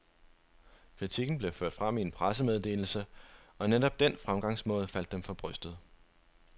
Kritikken blev ført frem i en pressemeddelse, og netop den fremgangsmåde faldt dem for brystet.